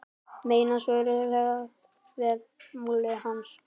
Menn svöruðu vel máli hans.